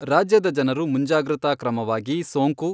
ರಾಜ್ಯದ ಜನರು ಮುಂಜಾಗೃತ ಕ್ರಮವಾಗಿ ಸೋಂಕು